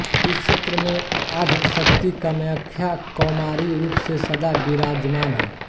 इस क्षेत्र में आद्यशक्ति कामाख्या कौमारी रूप में सदा विराजमान हैं